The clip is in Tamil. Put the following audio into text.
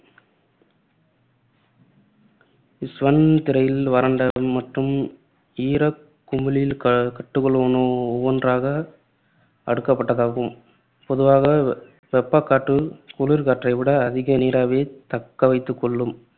ஸ்வன் திரையில் வறண்ட மற்றும் ஈரகுமிழில் கட்டுகள் ஒவ்வொன்றாக அடுக்கப்பட்டதாகும். பொதுவாக வெப்பகாற்று குளிர்காற்றைவிட அதிக நீராவியைத் தக்கவைத்துக்கொள்ளும்.